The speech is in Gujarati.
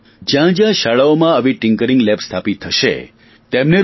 જ્યાં જ્યાં શાળાઓમાં આવી ટિંકરિંગ લેબ સ્થાપિત થશે તેમને રૂ